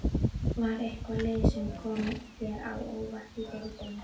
Var eitthvað lið sem kom þér á óvart í deildinni?